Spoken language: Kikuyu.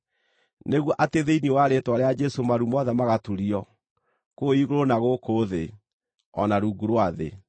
nĩguo atĩ thĩinĩ wa rĩĩtwa rĩa Jesũ maru mothe magaturio, kũu igũrũ, na gũkũ thĩ, o na rungu rwa thĩ,